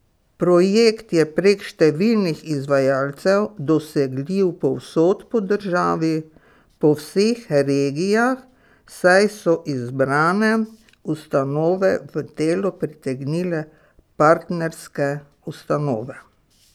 Projekt je prek številnih izvajalcev dosegljiv povsod po državi, po vseh regijah, saj so izbrane ustanove v delo pritegnile partnerske ustanove.